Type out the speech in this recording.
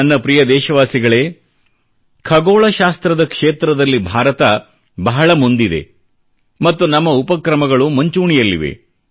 ನನ್ನ ಪ್ರಿಯ ದೇಶವಾಸಿಗಳೇ ಖಗೋಳ ಶಾಸ್ತ್ರದ ಕ್ಷೇತ್ರದಲ್ಲಿ ಭಾರತ ಬಹಳ ಮುಂದೆ ಇದೆ ಮತ್ತು ನಮ್ಮ ಉಪಕ್ರಮಗಳು ಮುಂಚೂಣಿಯಲ್ಲಿವೆ